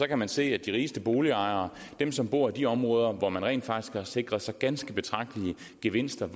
kan man se at de rigeste boligejere dem som bor i de områder hvor man rent faktisk har sikret sig ganske betragtelige gevinster